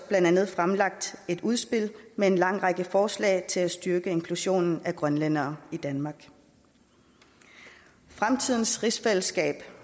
blandt andet fremlagt et udspil med en lang række forslag til at styrke inklusionen af grønlændere i danmark fremtidens rigsfællesskab